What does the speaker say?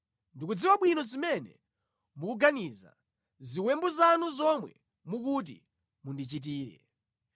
“Ndikudziwa bwino zimene mukuganiza, ziwembu zanu zomwe mukuti mundichitire.